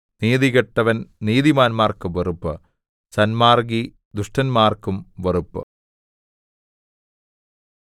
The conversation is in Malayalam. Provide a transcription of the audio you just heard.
നീതികെട്ടവൻ നീതിമാന്മാർക്ക് വെറുപ്പ് സന്മാർഗ്ഗി ദുഷ്ടന്മാർക്കും വെറുപ്പ്